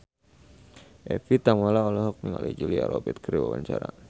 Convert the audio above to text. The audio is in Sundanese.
Evie Tamala olohok ningali Julia Robert keur diwawancara